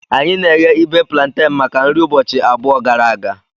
Anyị na-eghe ibe plantenu maka nri ụbọchị abụọ gara aga.